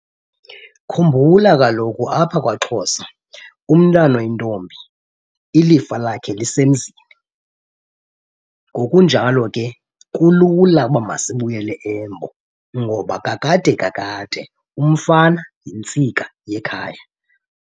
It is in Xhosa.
Khumbula kaloku apha kwaXhosa umntwana oyintombi ilifa lakhe lisemzini. Ngokunjalo ke kulula uba masibuyele Embo ngoba kakade kakade umfana yintsika yekhaya.